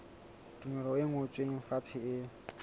tumello e ngotsweng fatshe e